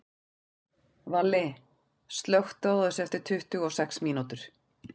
Valli, slökktu á þessu eftir tuttugu og sex mínútur.